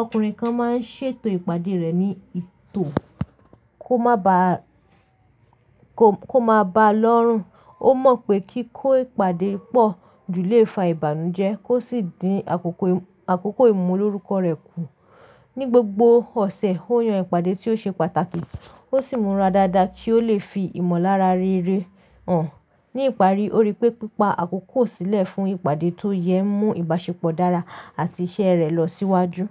Ọkùnrin kan máa ń ṣètò ìpàdé rẹ̀ ní tò kó má ba lọ́rùn. Ó mọ̀ pé kí kó ìpàdé pọ̀ ju lé fà ìbànújẹ́ kó sì dín àkókò ìmúlórúkọ rẹ̀ kù. Ni gbogbo ọ̀sẹ̀, ó yan ìpàdé tí ó ṣe pàtàkì ó sì múra dáadáa kí ó lè fi ìmọ̀lára rere hàn. Ni ìparí, ó rí pé pípa àkókò sílẹ̀ fún ìpàdé tó yẹ ń mú ìbáṣepọ̀ dára àti iṣẹ́ rẹ̀ lọ síwájú.